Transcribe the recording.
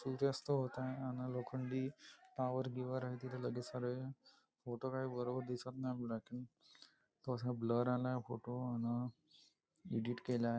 सूर्यास्त होत आहे अन लोखंडी टॉवर गिवर वगेरे आहे लगेच सारे फोटो काही बरोबर दिसत नाही आहे तो थोडासा ब्लर आला आहे फोटो अन एडिट केला आहे.